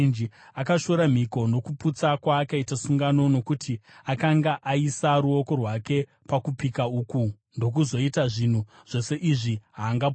Akashora mhiko nokuputsa kwaakaita sungano. Nokuti akanga aisa ruoko rwake pakupika uku ndokuzoita zvinhu zvose izvi, haangapunyuki.